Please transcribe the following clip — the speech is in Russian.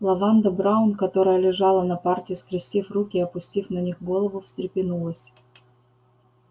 лаванда браун которая лежала на парте скрестив руки и опустив на них голову встрепенулась